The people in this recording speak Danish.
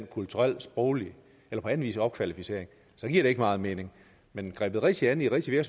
kulturel sproglig eller på anden vis opkvalificering giver det ikke meget mening men grebet rigtigt an i rigtige